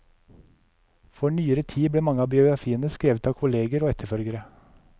For nyere tid ble mange av biografiene skrevet av kolleger og etterfølgere.